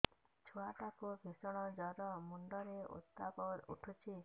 ଛୁଆ ଟା କୁ ଭିଷଣ ଜର ମୁଣ୍ଡ ରେ ଉତ୍ତାପ ଉଠୁଛି